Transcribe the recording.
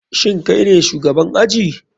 Shin kaine shugaban aji?